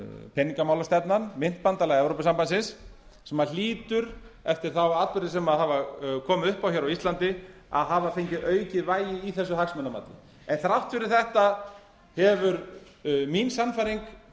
peningamálastefnan myntbandalag evrópusambandsins sem hlýtur eftir þá atburði sem hafa komið upp á á íslandi að hafa fengið aukið vægi í þessu hagsmunamati en þrátt fyrir þetta hefur mín sannfæring